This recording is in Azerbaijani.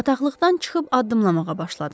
Bataqlıqdan çıxıb addımlamağa başladım.